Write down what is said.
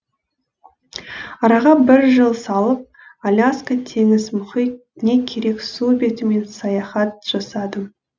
араға бір жыл салып аляска теңіз мұхит не керек су бетімен саяхат жасадым